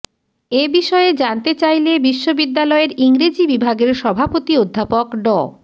এ বিষয়ে জানতে চাইলে বিশ্ববিদ্যালয়ের ইংরেজি বিভাগের সভাপতি অধ্যাপক ড